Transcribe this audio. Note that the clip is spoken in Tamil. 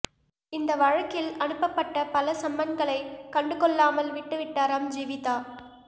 இந்த வழக்கில் அனுப்பப்பட்ட பல சம்மன்களைக் கண்டுகொள்ளாமல் விட்டுவிட்டாராம் ஜீவிதா